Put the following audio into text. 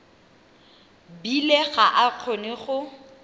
bile ga a kgone go